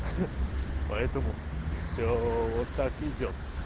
поэтому все вот так идёт